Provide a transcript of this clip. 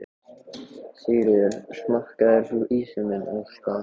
Sigríður: Smakkaðir þú ísinn, Ásta?